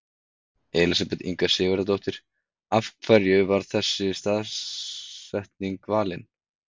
Elísabet Inga Sigurðardóttir: Af hverju var þessi staðsetning valin?